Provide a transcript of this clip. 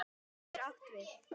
Spuni getur átt við